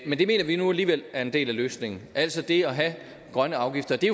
men det mener vi nu alligevel er en del af løsningen altså det at have grønne afgifter det